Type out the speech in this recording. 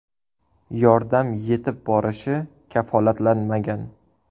Yordam yetib borishi kafolatlanmagan.